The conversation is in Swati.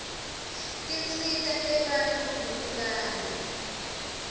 tinsita tebantfu kubukana